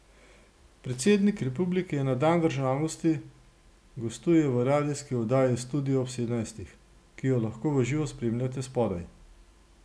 Predsednik republike na dan državnosti gostuje v radijski oddaji Studio ob sedemnajstih, ki jo lahko v živo spremljate spodaj.